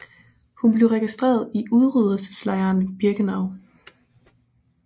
Hun blev registreret i udryddelseslejren Birkenau